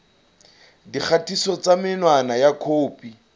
dikgatiso tsa menwana ya mokopi